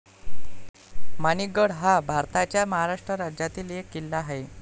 माणिक गड हा भारताच्या महाराष्ट्र राज्यातील एक किल्ला आहे